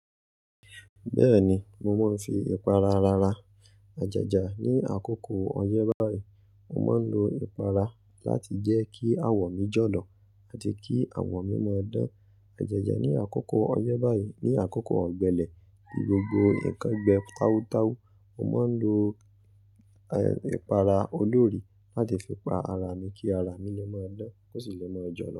Bẹ́ẹ̀ni, mo máa ń fi ìpara ra ara. Àjaja ni àkókò ọyẹ́ báyìí. Mo máa ń lo ìpara láti jẹ́ kí àwọ̀ mi jọ̀lọ̀ àti kí àwọ̀ mi máa dán. Àjẹjà ni àkókò ọyẹ́ báyìí. Ni àkókò ọ̀gbẹlẹ̀, nigbogbo, nǹkan gbe tawutawu, mo máa ń lo, eh, ìpara olórí láti fi pa ara mi kí ara mi lè máa dán, kó sì lè máa jọ̀lọ̀